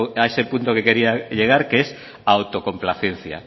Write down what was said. a ese punto que quería llegar que es autocomplacencia